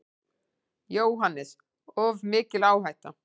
JÓHANNES: Of mikil áhætta.